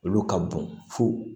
Olu ka bɔn fo